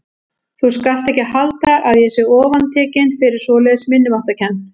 Þú skalt ekki halda að ég sé ofantekinn fyrir svoleiðis minnimáttarkennd.